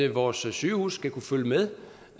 vores sygehuse skal kunne følge med